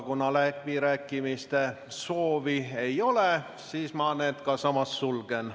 Kuna läbirääkimiste soovi ei ole, siis ma need ka samas sulgen.